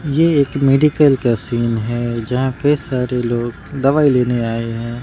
ये एक मेडिकल का सीन है यहां पे सारे लोग दवाई लेने आए हैं।